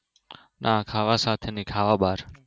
ના ખાવા સાથે નહિ ખાવા બાર